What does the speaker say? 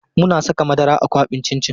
Muna saka madara a kwaɓin cin cin.